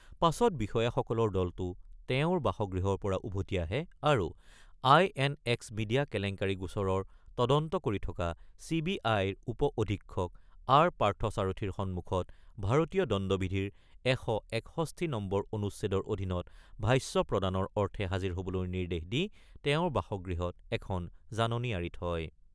পাছত বিষয়াসকলৰ দলটো তেওঁৰ বাসগৃহৰ পৰা উভতি আহে আৰু আই এন এক্স মিডিয়া কেলেংকাৰি গোচৰৰ তদন্ত কৰি থকা চি বি আইৰ উপ অধীক্ষক আৰ পাৰ্থসাৰথিৰ সন্মুখত ভাৰতীয় দণ্ডিবিধিৰ ১৬১ নম্বৰ অনুচ্ছেদৰ অধীনত ভাষ্য প্ৰদানৰ অৰ্থে হাজিৰ হ'বলৈ নিৰ্দেশ দি তেওঁৰ বাসগৃহত এখন জাননী আঁৰি থয়।